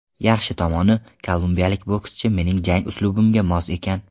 Yaxshi tomoni, kolumbiyalik bokschi mening jang uslubimga mos ekan.